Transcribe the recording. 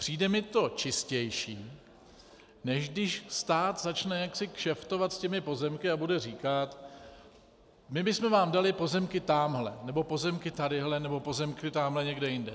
Přijde mi to čistější, než když stát začne jaksi kšeftovat s těmi pozemky a bude říkat "my bysme vám dali pozemky támhle, nebo pozemky tadyhle, nebo pozemky támhle někde jinde".